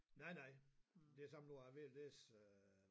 Nej nej det som nu er jeg ved at læse øh